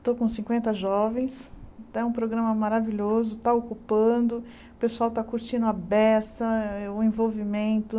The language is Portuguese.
Estou com cinquenta jovens, é um programa maravilhoso, está ocupando, o pessoal está curtindo a beça, é é o envolvimento.